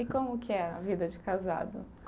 E como que é a vida de casado?